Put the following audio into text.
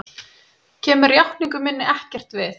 Kemur játningu minni ekkert við.